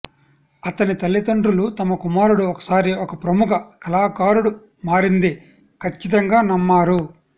అతని తల్లితండ్రులు తమ కుమారుడు ఒకసారి ఒక ప్రముఖ కళాకారుడు మారింది ఖచ్చితంగా నమ్మారు